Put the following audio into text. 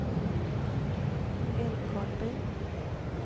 Älvkarleby